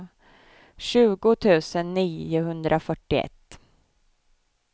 tjugo tusen niohundrafyrtioett